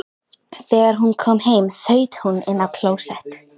Þegar hún kom heim þaut hún inn á klósett.